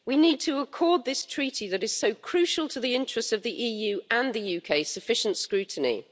We need to accord this treaty, which is so crucial to the interests of the EU and the UK, sufficient scrutiny.